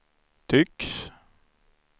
tycks